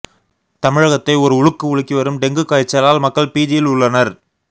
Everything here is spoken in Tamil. தமிழகத்தை ஒரு உலுக்கு உலுக்கி வரும் டெங்கு காய்ச்சலால் மக்கள் பீதியில் உள்ளனர்